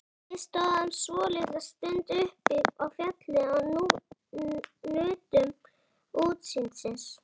Við stóðum svolitla stund uppi á fjallinu og nutum útsýnisins.